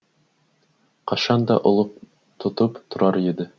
қашан да ұлық тұтып тұрар еді